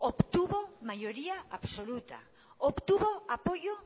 obtuvo mayoría absoluta obtuvo apoyo